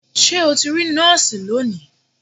Ṣé o ti rí nọ́ọ̀sì lónìí?